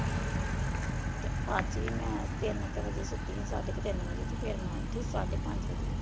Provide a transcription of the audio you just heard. ਰਾਤੀ ਮੈਂ ਤਿੰਨ ਕੁ ਵਜੇ ਸੁੱਤੀ ਹਾਂ ਸਾਡੇ ਕ ਤਿੰਨ ਵਜੇ ਤੇ ਫਿਰ ਮੈਂ ਉੱਠੀ ਸਾਢੇ ਪੰਜ ਵਜੇ।